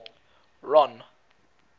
ron